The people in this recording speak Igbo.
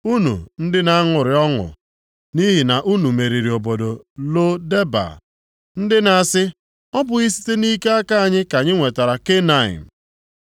Unu ndị na-aṅụrị ọṅụ nʼihi na unu meriri obodo Lo Deba, + 6:13 Ya bụ, ihe na-abaghị uru ndị na-asị, “Ọ bụghị site nʼike aka anyị ka anyị nwetakwara Kanaịm?” + 6:13 Kanaịm pụtara mpi; mpi nʼebe mpi na-egosi ịdị ike.